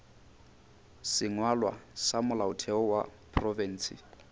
sengwalwa sa molaotheo wa profense